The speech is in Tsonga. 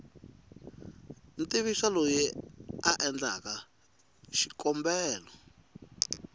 tivisa loyi a endleke xikombelo